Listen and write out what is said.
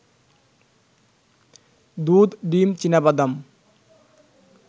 দুধ, ডিম, চিনাবাদাম